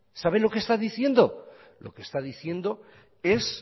sabe lo que está diciendo lo que está diciendo es